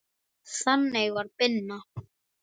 Þannig var Binna.